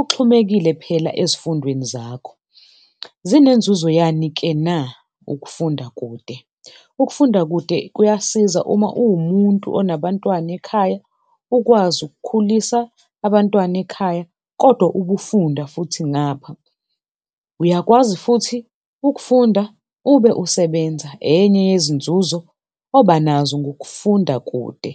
uxhumekile phela ezifundweni zakho. Zinenzuzo yani-ke na, ukufunda kude? Ukufunda kude kuyasiza uma uwumuntu onabantwana ekhaya ukwazi ukukhulisa abantwana ekhaya kodwa ubufunda futhi ngapha. Uyakwazi futhi ukufunda ube usebenza, enye yezinzuzo obanazo ngokufunda kude.